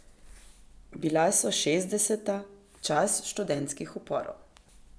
Bila so šestdeseta, čas študentskih uporov.